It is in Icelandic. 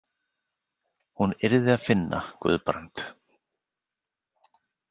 Hún yrði að finna Guðbrand.